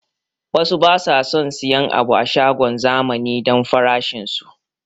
Wasu basu son siyan abu a shagon zamani don farashin su